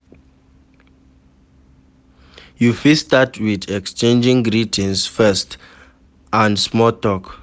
you fit start with exchanging greetings first and small talk